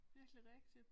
Virkelig rigtigt